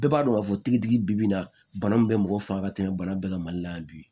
Bɛɛ b'a dɔn k'a fɔ tigitigi bi na bana min bɛ mɔgɔ faga ka tɛmɛ bana bɛɛ kan mali la yan bi